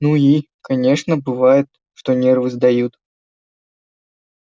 ну и конечно бывает что нервы сдают